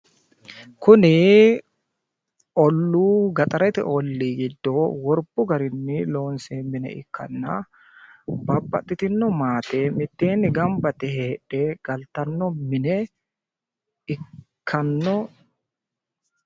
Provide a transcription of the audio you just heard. Kuni olluu gaxarete ollii giddo worbbu garinni loonsoyi mine ikkanna babbaxitinno maate mitteenni gamba yite galtanno mine ikkanno.